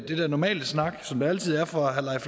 det der normale snak som der altid er fra